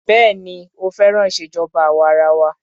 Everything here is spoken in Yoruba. Béèni ó féràn ìṣèjọba àwa arawa.